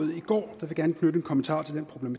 vi går